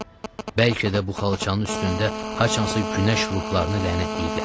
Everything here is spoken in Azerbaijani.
Bəlkə də bu xalçanın üstündə haçansa günəş ruhlarını lənətləyiblər.